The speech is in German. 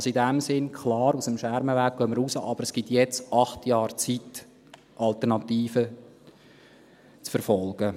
Also, in diesem Sinn: Klar, aus dem Schermenweg gehen wir raus, aber es gibt jetzt acht Jahre Zeit, um Alternativen zu verfolgen.